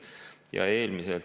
Ja eelmiselt …